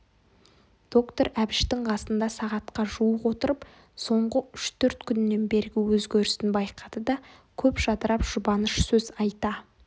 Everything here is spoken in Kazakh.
доктор әбіштің қасында сағатқа жуық отырып соңғы үш-төрт күннен бергі өзгерісін байқады да көп жадырап жұбаныш сөз айта